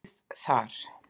ið þar.